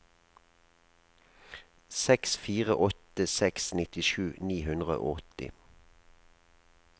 seks fire åtte seks nittisju ni hundre og åtti